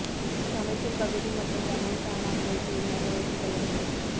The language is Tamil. சமைக்கும் பகுதி மற்றும் சமையல் சாமான்களை தூய்மையாக வைத்துக் கொள்ளவேண்டும்